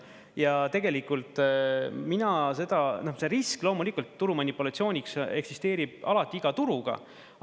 Ja tegelikult mina seda … noh, see risk, loomulikult, turu manipulatsiooniks eksisteerib alati iga turuga.